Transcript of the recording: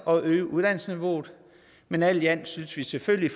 og et øget uddannelsesniveau men alt i alt synes vi selvfølgelig